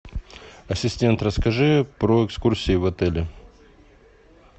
ассистент расскажи про экскурсии в отеле